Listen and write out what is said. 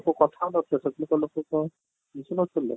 କୁ କଥା ହଉ ନ ଥିଲେ ସେତେବେଳେ ତ ଲୋକ କ'ଣ ବୁଝୁ ନ ଥଲେ?